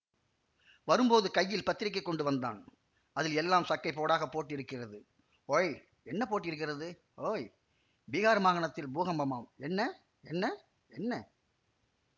வரும்போது கையில் பத்திரிகை கொண்டு வந்தான் அதில் எல்லாம் சக்கைப் போடாக போட்டிருக்கிறது ஓய் என்ன போட்டிருக்கிறது ஓய் பீஹார் மாகாணத்தில் பூகம்பமாம் என்ன என்ன என்ன